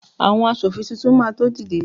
awon aṣòfin Titun ma to dide